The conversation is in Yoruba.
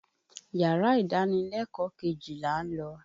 Yàrá ìdánilẹ́kọ̀ọ́ kejì là ń lọ.